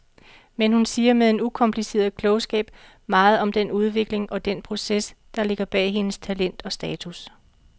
Men hun siger med en ukompliceret klogskab meget om den udvikling og den proces, der ligger bag hendes talent og status.